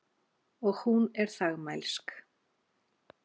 Og hún er þagmælsk.